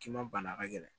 K'i ma bana a ka gɛlɛn